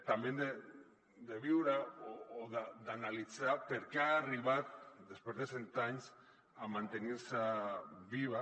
també hem d’analitzar per què ha arribat després de cent anys a mantenir se viva